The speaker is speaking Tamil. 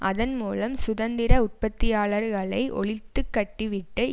அதன் மூலம் சுதந்திர உற்பத்தியாளர்களை ஒழித்துக்கட்டிவிட்டு